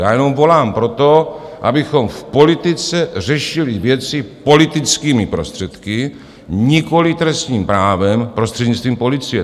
Já jenom volám po tom, abychom v politice řešili věci politickými prostředky, nikoliv trestním právem prostřednictvím policie.